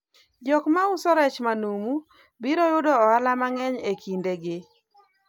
jok mauso rech manumu biro yudo ohala mang'eny e kinde gi